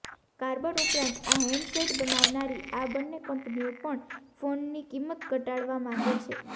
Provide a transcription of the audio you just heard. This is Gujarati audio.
કાર્બન ઉપરાંત આ હેન્ડસેટ બનાવનારી આ બંને કંપનીઓ પણ ફોનની કિંમત ઘટાડવા માંગે છે